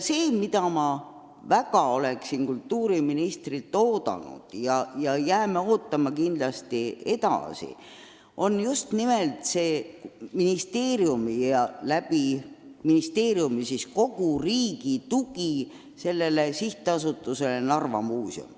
See, mida me väga oleme kultuuriministrilt oodanud ja jääme kindlasti edaspidigi ootama, on just nimelt ministeeriumi ja ministeeriumi kaudu kogu riigi tugi SA-le Narva Muuseum.